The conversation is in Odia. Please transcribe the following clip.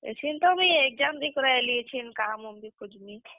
ଏଛେନ୍ ତ ମୁଇଁ exam ଦେଇକରି ଆଏଲିଁ ଏଛେନ୍ କାମ୍ ଖୁଜ୍ ମି।